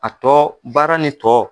A tɔ baara ni tɔ.